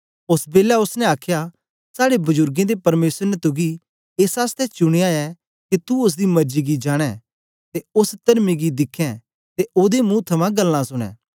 ओस बेलै ओसने आखया साड़े बजुर्गें दे परमेसर ने तुगी एस आसतै चुनयां ऐ के तू ओसदी मर्जी गी जान्ने ते ओस तर्मी गी दिखें ते ओदे मुंह थमां गल्लां सुनें